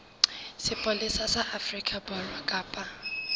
sepolesa sa afrika borwa kapa